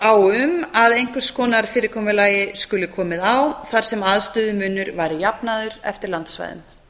á um að einhvers konar fyrirkomulagi skuli komið á þar sem aðstöðumunur væri jafnaður eftir landsvæðum